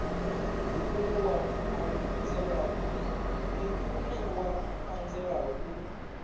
ndi une wa anzela u